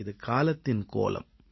இது காலத்தின் கோலம்